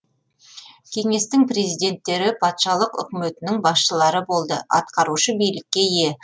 кеңестің президенттері патшалық үкіметінің басшылары болды атқарушы билікке ие